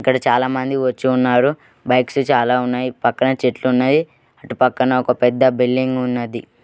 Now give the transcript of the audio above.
ఇక్కడ చాలా మంది వచ్చి ఉన్నారు బైక్స్ చాలా ఉన్నాయి ఇటు పక్కన చెట్లు ఉన్నాయి ఇటు పక్కన ఒక పెద్ద బిల్డింగ్ ఉన్నది.